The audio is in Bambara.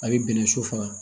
A bɛ bɛnɛ su faga